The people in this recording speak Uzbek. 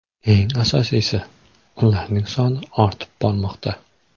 Eng asosiysi, ularning soni ortib bormoqda.